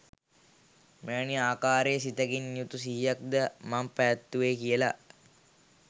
මෙවැනි ආකාරයේ සිතකින් යුතු සිහියක් ද මං පැවැත්තුවේ කියල